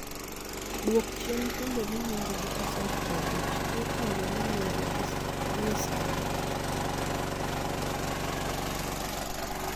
Dwok chien thumbe miwinjo gi pasent 50 kuo thumbe miwinjo gie sani.